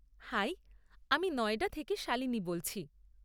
High, আমি নয়ডা থেকে শালিনী বলছি।